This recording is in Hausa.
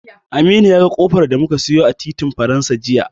Aminu ya ga ƙofar da muka siyo a titin Faransa jiya.